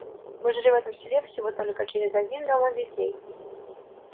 мы жили в этом селе всего только через один дом от детей